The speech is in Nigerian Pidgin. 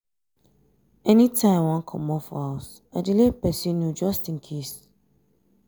anytime i wan comot for house i dey let person know just in case